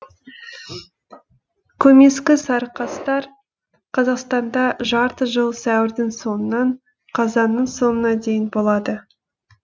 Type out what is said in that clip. көмескі сарықастар қазақстанда жарты жыл сәуірдің соңынан қазанның соңына дейін болады